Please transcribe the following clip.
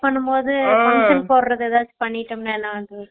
பண்ணும்போது போடுறது எதாச்சும் பண்ணிட்டு இருந்தேன் நானும்